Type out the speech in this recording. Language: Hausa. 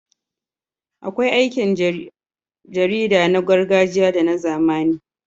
Akwai aikin jarida na gargajiya da na zamani.